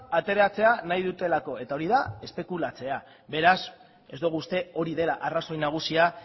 ateratzea nahi dutelako eta hori da espekulatzea beraz ez dugu uste hori dela arrazoi nagusia